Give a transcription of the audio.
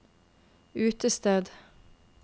utested